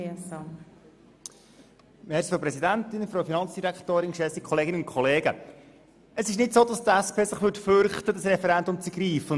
Es ist nicht so, dass die SP sich davor fürchtet, das Referendum zu ergreifen.